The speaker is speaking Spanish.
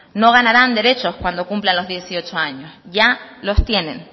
no ganarán derechos cuando cumplan los dieciocho años ya los tienen